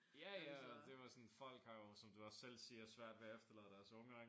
Ja ja og det var sådan folk har jo som du også selv siger svært ved at efterlade deres unger ik